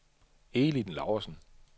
Elin Laursen